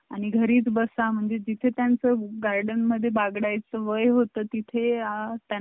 आणि घरीच बसा म्हणजे तिथे त्यांचा गार्डनमध्ये बागडायचे सौम्य होता तिथे